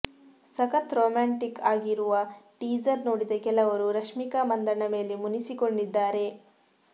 ಸಖತ್ ರೊಮ್ಯಾಂಟಿಕ್ ಆಗಿರುವ ಟೀಸರ್ ನೋಡಿದ ಕೆಲವರು ರಷ್ಮಿಕಾ ಮಂದಣ್ಣ ಮೇಲೆ ಮುನಿಸಿಕೊಂಡಿದ್ದಾರೆ